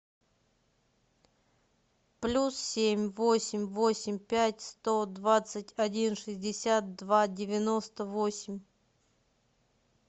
плюс семь восемь восемь пять сто двадцать один шестьдесят два девяносто восемь